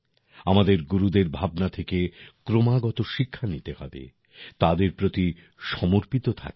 আমাদের গুরুদের ভাবনা থেকে ক্রমাগত শিক্ষা নিতে হবে তাদের প্রতি সমর্পিত থাকতে হবে